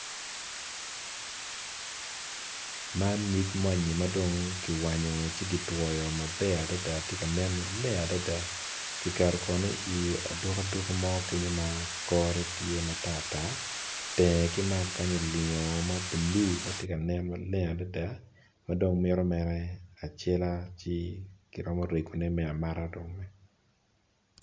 Man nyig ma anyima dong kiwanyo ci ki twoyo maber adada tye kanen maleng adada kiketo kono i aduku aduku mo kenyo ma kore tye matar tar tenge kimalo kany olingo mablue matye ka nen maleng adada ma dong mito mere acela ci kiromo rego ne ma amata dong.